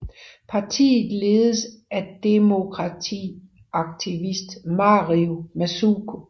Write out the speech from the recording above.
Partiet ledes af demokratiaktivist Mario Masuku